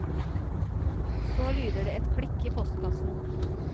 Så lyder det et klikk i postkassen.